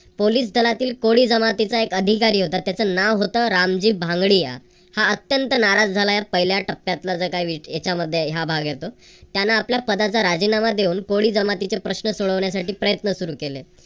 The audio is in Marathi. पोलीस दलातील कोळी जमातीचा एक अधिकारी होता त्याचं नाव होतं रामजी भांगडिया. हा अत्यंत नाराज झालाय पहिल्या टप्प्यातला जे काय याच्या मध्ये आहे या भाग येतो. त्यांन आपल्या पदाचा राजीनामा देऊन कोळी जमातीचे प्रश्न सोडवण्यासाठी प्रयत्न सुरू केले.